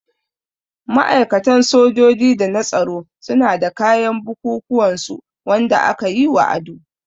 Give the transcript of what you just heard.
Ma'aikatan sojoji da na tsaro suna da kayan bukukuwan su Wanda aka yi wa ado.